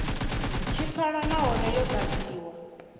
tshi pfala nahone yo ḓadziwa